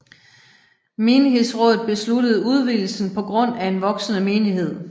Menighedsrådet besluttede udvidelsen på grund af en voksende menighed